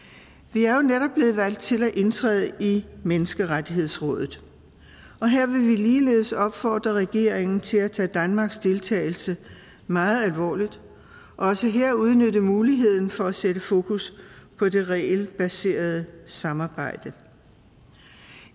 vi er jo netop blevet valgt til at indtræde i menneskerettighedsrådet og her vil vi ligeledes opfordre regeringen til at tage danmarks deltagelse meget alvorligt og også her udnytte muligheden for at sætte fokus på det regelbaserede samarbejde